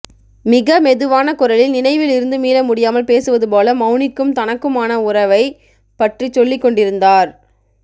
மிக மெதுவான குரலில் நினைவில் இருந்து மீளமுடியாமல் பேசுவது போல மௌனிக்கும் தனக்குமான உறவை பற்றிச் சொல்லிக் கொண்டிருந்தார்